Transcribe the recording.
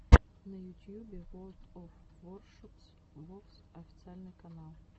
на ютьюбе ворлд оф воршипс вовс официальный канал